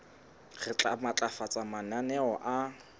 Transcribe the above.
re tla matlafatsa mananeo a